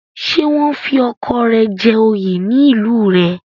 Ṣé wọ́n fi ọkọ rẹ jẹ oyè ní ìlú rẹ̀?